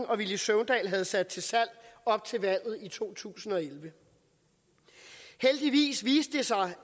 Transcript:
og villy søvndal havde sat til salg op til valget i to tusind og elleve heldigvis viste det sig